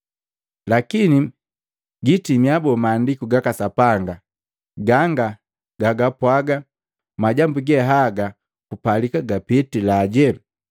Lakini giitimia boo Maandiku gaka Sapanga ganga gagapwaga majambu ge haga kupalika gapitila?”